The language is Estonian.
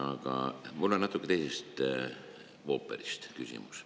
Aga mu küsimus on natuke teisest ooperist.